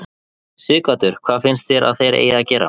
Sighvatur: Hvað finnst þér að þeir eig að gera?